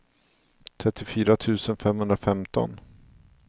trettiofyra tusen femhundrafemton